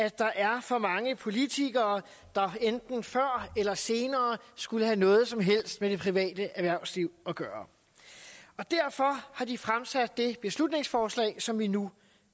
at der er for mange politikere der enten før eller senere skulle have noget som helst med det private erhvervsliv at gøre og derfor har de fremsat det beslutningsforslag som vi nu